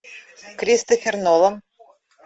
кристофер нолан